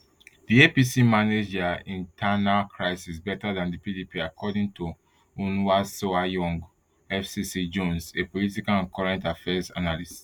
di apc manage dia internal crisis better dan di pdp according to onwuasoanya fcc jones a political and current affairs analyst